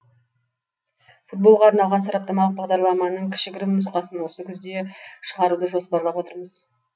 футболға арналған сараптамалық бағдарламаның кішігірім нұсқасын осы күзде шығаруды жоспарлап отырмыз